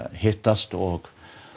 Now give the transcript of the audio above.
hittast og